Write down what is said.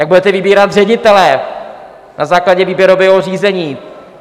Jak budete vybírat ředitele na základě výběrového řízení.